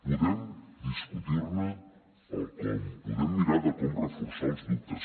podem discutir ne el com podem mirar de com reforçar els dubtes